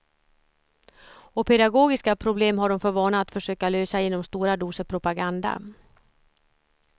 Och pedagogiska problem har de för vana att försöka lösa genom stora doser propaganda.